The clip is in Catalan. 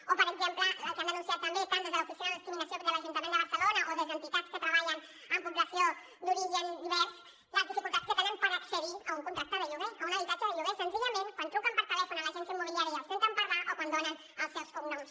o per exemple el que han denunciat també tant des de l’oficina per la no discriminació de l’ajuntament de barcelona o des d’entitats que treballen amb població d’origen divers les dificultats que tenen per accedir a un contracte de lloguer a un habitatge de lloguer senzillament quan truquen per telèfon a l’agència immobiliària i els senten parlar o quan donen els seus cognoms